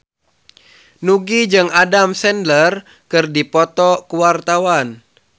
Nugie jeung Adam Sandler keur dipoto ku wartawan